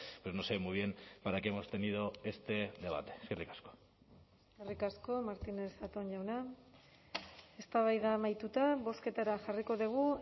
pues no sé muy bien para qué hemos tenido este debate eskerrik asko eskerrik asko martínez zatón jauna eztabaida amaituta bozketara jarriko dugu